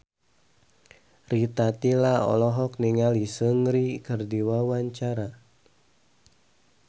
Rita Tila olohok ningali Seungri keur diwawancara